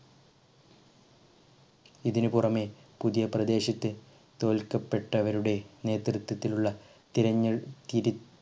ഇതിനി പുറമെ പുതിയ പ്രദേശത്തെ തോൽക്കപെട്ടവരുടെ നേതൃത്തത്തിലുള്ള തിരഞ്ഞ് കിര്